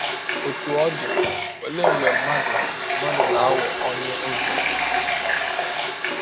Ọtụ ọ dị, ọlee mgbe mmadụ mmadụ na - aghọ ọnye ọzi?